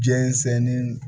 Jɛnsɛnni